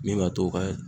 Min b'a to u ka